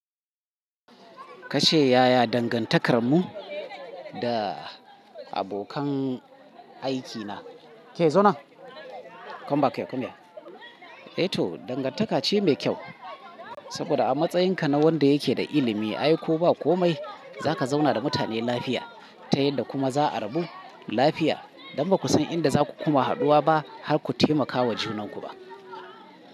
Kace Yaya dangantakarmu da abokan aikina. Ke zonan. Come back ya kunya. Eh toh, dangantaka ce mai kyau saboda a matsayinka na wanda yake da ilimi, aiko ba komai, za ka zauna da mutane lafiya ta yadda kuma za a rabu lafiya don ba ku san inda za ku kuma hadu wa ba har ku taimaka wa juna guba.